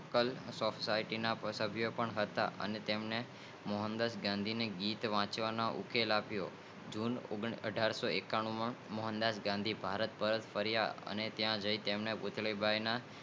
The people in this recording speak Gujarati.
લોકલ સોસાયટી ના સાભિયો પણ હતા અને તેમની મોહનદાસ ગાંધી નો ગીતવાચવાનો ઉકેલ આપીઓ તેમને જૂન અઠારશોએકાણુમે ભારત પરત ફરિયા ત્યાં જય તેમને પુતળીબાઈ ના